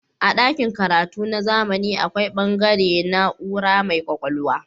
A dakin karatu na zamani akwai bangare na'ura mai kwakwalwa.